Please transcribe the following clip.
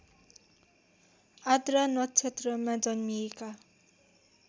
आर्द्रा नक्षत्रमा जन्मिएका